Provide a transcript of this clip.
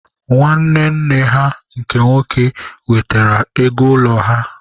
Nwanne nne ha nke nwoke wetere ego ụlọ ha.